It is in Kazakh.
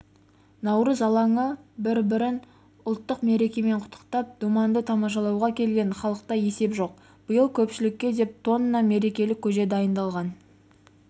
наурыз алаңы бір-бірін ұлық мерекемен құттықтап думанды тамашалауға келген халықта есеп жоқ биыл көпшілікке деп тонна мерекелік көже дайындалған